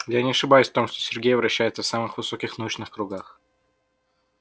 я не ошибаюсь в том что сергей вращается в самых высоких научных кругах